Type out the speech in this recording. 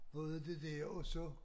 Prøvede det dér og så